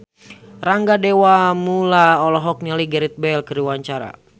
Rangga Dewamoela olohok ningali Gareth Bale keur diwawancara